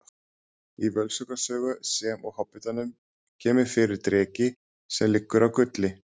Í Völsunga sögu sem og Hobbitanum kemur fyrir dreki sem liggur á gulli.